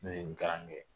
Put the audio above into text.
Ne ye nin kalan kɛ